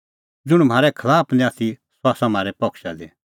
ज़ुंण म्हारै खलाफ निं आथी सह आसा म्हारै पक्षा दी